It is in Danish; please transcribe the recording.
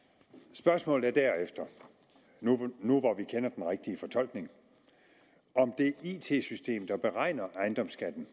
spørgsmålet er derefter nu hvor vi kender den rigtige fortolkning om det it system der beregner ejendomsskatten